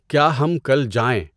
کیا ہم کل جائیں؟